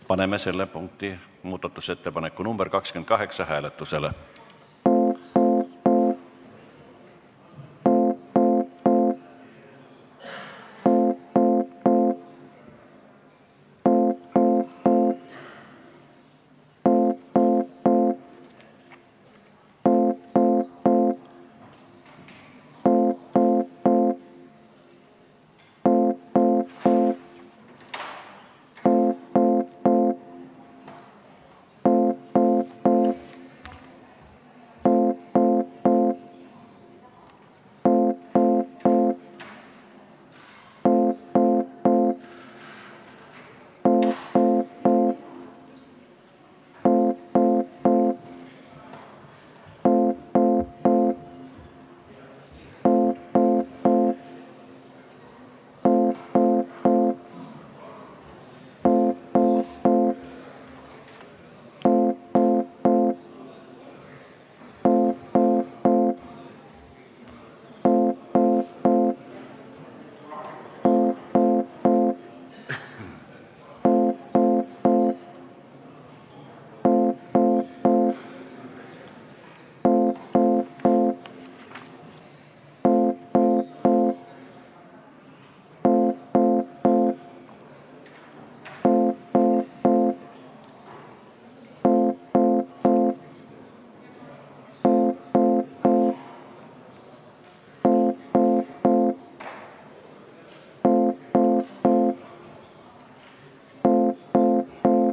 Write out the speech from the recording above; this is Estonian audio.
Paneme selle punkti, muudatusettepaneku nr 28 hääletusele.